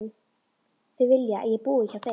Þau vilja að ég búi hjá þeim.